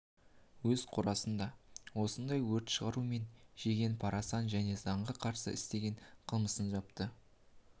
өз қорасында осындай өрт шығарумен жеген парасын және заңға қарсы істеген қылмысын жапты